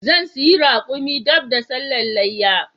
Zan siya raƙumin dab da sallan leyya